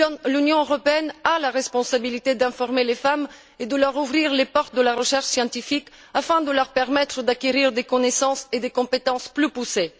L'Union européenne a la responsabilité d'informer les femmes et de leur ouvrir les portes de la recherche scientifique, afin de leur permettre d'acquérir des connaissances et des compétences plus poussées.